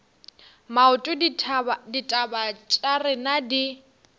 maoto ditaba tša rena di